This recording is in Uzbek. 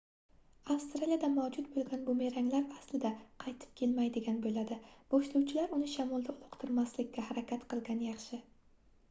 avstraliyada mavjud boʻlgan bumeranglar aslida qaytib kelmaydigan boʻladi boshlovchilar uni shamolda uloqtirmaslikka harakat qilgan yaxshi